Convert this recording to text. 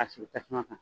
A sigi tasuma kan